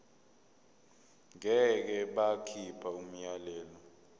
ngeke bakhipha umyalelo